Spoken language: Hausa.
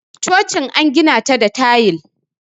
chocin an gina ta da tayil